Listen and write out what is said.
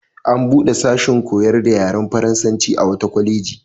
An buɗe sashin koyar da yaren faransanci a wata kwaleji.